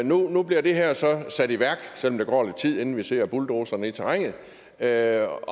nu bliver det her så sat i værk selv om der går lidt tid inden vi ser bulldozerne i terrænet er er